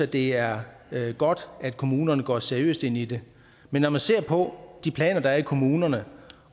det er godt at kommunerne går seriøst ind i det men når man ser på de planer der er i kommunerne